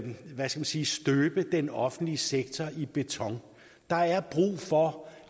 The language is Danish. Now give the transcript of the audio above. hvad skal jeg sige støbe den offentlige sektor i beton der er brug for